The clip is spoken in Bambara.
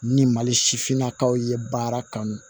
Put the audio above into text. Ni mali sifinnakaw ye baara kanu